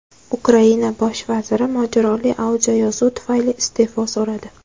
Ukraina bosh vaziri mojaroli audioyozuv tufayli iste’fo so‘radi.